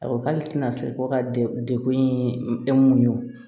A ko k'ale tɛna se ko ka dekun ye e mun ye o